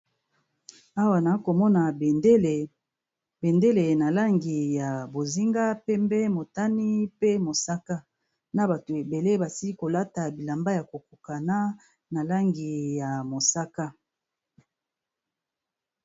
Awa nako mona bendele, bendele na langi ya bozinga, pembe, motani pe mosaka. Na batu ebele basili kolata bilamba yako kokana, na langi ya mosaka.